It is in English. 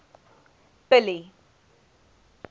billy